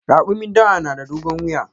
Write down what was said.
Rakumin dawa na da dogon wuya.